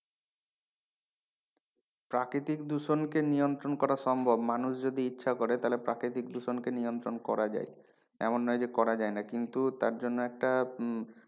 প্রাকৃতিক দূষণকে নিয়ন্ত্রণ করা সম্ভব মানুষ যদি ইচ্ছা করে তালে প্রাকৃতিক দূষণকে নিয়ন্ত্রণ করা যায় এমন নয় যে করা যায় না কিন্তু তার জন্য একটা উম